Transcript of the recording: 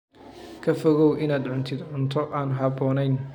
Ka fogow inaad cuntid cunto aan habboonayn.